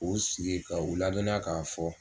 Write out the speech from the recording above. U sigi ka u ladɔnniya k'a fɔ.